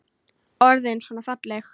Orðin svona falleg.